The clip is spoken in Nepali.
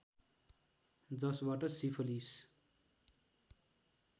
जसबाट सिफलिस